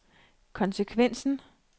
konsekvensen